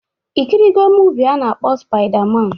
Ikirigo muuvi a na-akpọ spaida man?